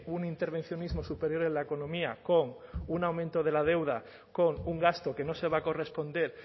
un intervencionismo superior en la economía con un aumento de la deuda con un gasto que no se va a corresponder